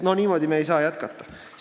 Niimoodi me ei saa jätkata.